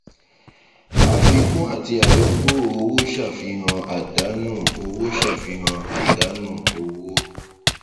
àfikún àti àyọkúrò owó ṣàfihàn àdánù owó ṣàfihàn àdánù owó